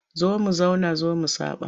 Zo mu zauna zo mu saɓa.